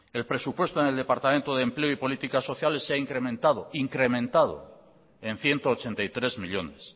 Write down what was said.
el presupuesto en el departamento de empleo y políticas sociales se ha incrementado incrementado en ciento ochenta y tres millónes